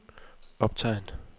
optegn